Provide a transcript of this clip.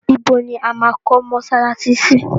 Ìbò ni a máa kọ́ mọsálásí sí?